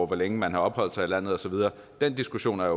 hvor længe man har opholdt sig i landet osv og den diskussion er